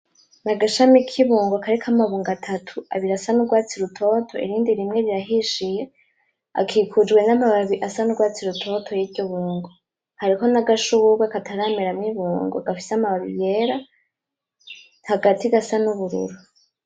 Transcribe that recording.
Ni agashami k'ibingo kariko amabungo atatu , abiri asa n'urwatsi rutoto, irindi rimwe rirahishiye akikujwe n'amababi asa n'urwatsi rutoto yiryo bungo hariho n'agashurwe katarameramo ibungo, gafise amababi yera, hagati nagasa n'ubururu.